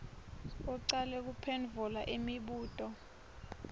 ucale kuphendvula imibuto